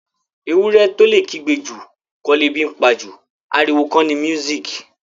Ewúrẹ́ tó lè kígbe jù kọ́ lebi ńpa jù. Ariwo kọ ni music